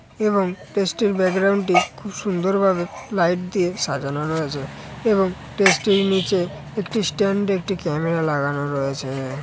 এবং টেস্ট এর ব্যাকগ্রাউন্ড টি খুব সুন্দর ভাবে লাইট দিয়ে সাজানো রয়েছে এবং টেস্ট এর নিচে একটি স্ট্যান্ড একটি ক্যামেরা লাগানো রয়েছে।